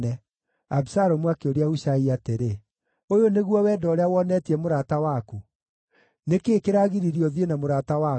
Abisalomu akĩũria Hushai atĩrĩ, “Ũyũ nĩguo wendo ũrĩa wonetie mũrata waku? Nĩ kĩĩ kĩragiririe ũthiĩ na mũrata waku?”